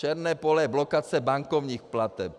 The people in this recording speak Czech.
Černé pole je blokace bankovních plateb.